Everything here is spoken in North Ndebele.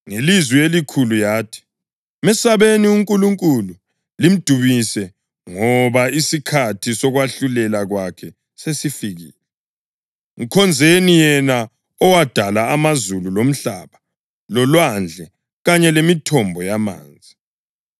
Ngelizwi elikhulu yathi, “Mesabeni uNkulunkulu limdumise ngoba isikhathi sokwahlulela kwakhe sesifikile. Mkhonzeni yena owadala amazulu, lomhlaba, lolwandle kanye lemithombo yamanzi.”